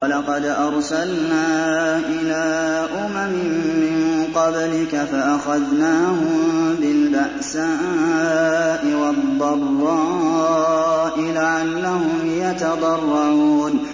وَلَقَدْ أَرْسَلْنَا إِلَىٰ أُمَمٍ مِّن قَبْلِكَ فَأَخَذْنَاهُم بِالْبَأْسَاءِ وَالضَّرَّاءِ لَعَلَّهُمْ يَتَضَرَّعُونَ